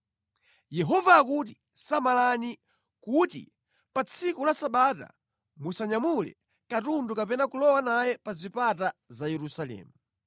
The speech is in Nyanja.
Yehova akuti: samalani kuti pa tsiku la Sabata musanyamule katundu kapena kulowa naye pa zipata za Yerusalemu.